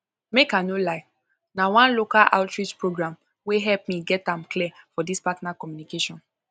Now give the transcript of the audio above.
make i no lie na one local outreach program wey help me get am clear for this partner communication